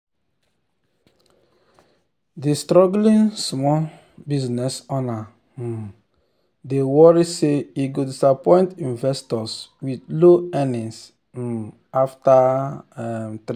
d struggling small business owner um dey worry say e go disappoint investors with low earnings um after um 3 months